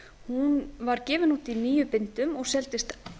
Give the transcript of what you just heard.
hún var gefin út í níu bindum og seldist